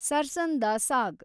sarson da ಸಾಗ್